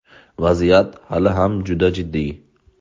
Vaziyat hali ham juda jiddiy.